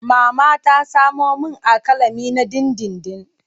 Mama ta samo min alƙalami na dindindin.